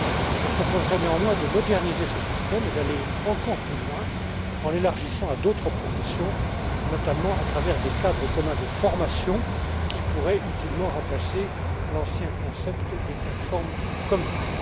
Je proposerai néanmoins de moderniser ce système et d'aller encore plus loin en l'élargissant à d'autres professions, notamment à travers des cadres communs de formation, qui pourraient utilement remplacer l'ancien concept des plateformes communes.